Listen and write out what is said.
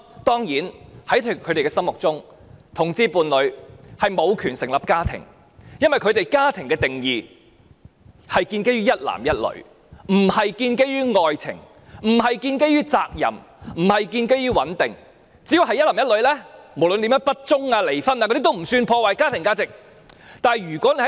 當然，在他們的心目中，同志伴侶無權成立家庭，因為他們對家庭的定義是建基於一男一女，不是建基於愛情，不是建基於責任，不是建基於穩定，只要是一男一女，無論怎樣不忠、離婚也不算是破壞家庭價值。